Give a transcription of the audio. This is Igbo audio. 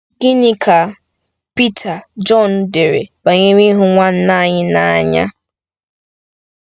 Gịnị ka Pita Jọn dere banyere ịhụ nwanna anyị n’anya?